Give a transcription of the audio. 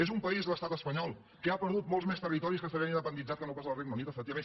és un país l’estat espanyol que ha perdut molts més territoris que se li han independitzat que no pas el regne unit efectivament